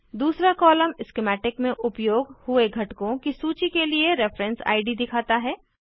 दूसरा column schematic में उपयोग हुए घटकों की सूची के लिए रेफरेन्स इद दिखाता है